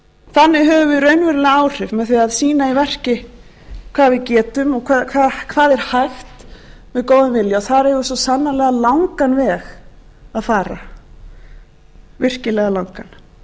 þannig höfum við raunveruleg áhrif með því að sýna í verki hvað við getum og hvað er hægt með góðum vilja þar eigum við svo sannarlega langan veg að fara virkilega langan